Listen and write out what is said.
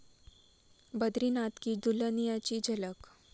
ब्रदीनाथ की दुल्हनिया'ची झलक